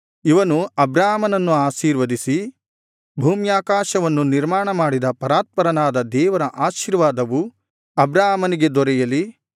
ಇವನು ಅಬ್ರಾಮನನ್ನು ಆಶೀರ್ವದಿಸಿ ಭೂಮ್ಯಾಕಾಶವನ್ನು ನಿರ್ಮಾಣಮಾಡಿದ ಪರಾತ್ಪರನಾದ ದೇವರ ಆಶೀರ್ವಾದವು ಅಬ್ರಾಮನಿಗೆ ದೊರೆಯಲಿ